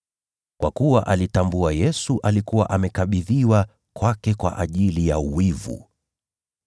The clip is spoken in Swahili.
Kwa kuwa alitambua Yesu alikuwa amekabidhiwa kwake kwa ajili ya wivu.